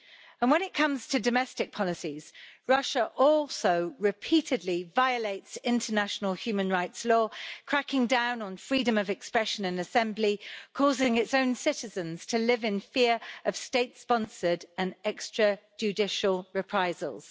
And when it comes to domestic policies, Russia also repeatedly violates international human rights law, cracking down on freedom of expression and assembly, causing its own citizens to live in fear of state sponsored and extra judicial reprisals.